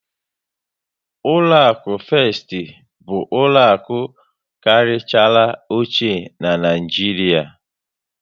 Ụlọakụ Fest bụ ụlọaku dị karịchara ochie n'Naijiria